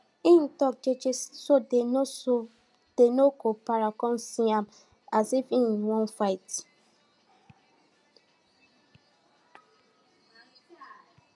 him tok jeje so dem no so dem no go para com see am as if say hin wan fight